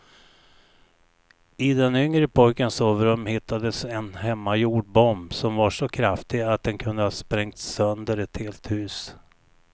I den yngre pojkens sovrum hittades en hemmagjord bomb som var så kraftig att den kunde ha sprängt sönder ett helt hus.